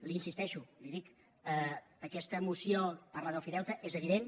hi insisteixo li ho dic aquesta moció parla d’ofideute és evident